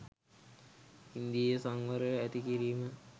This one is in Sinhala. ඉන්ද්‍රිය සංවරය ඇති කිරීම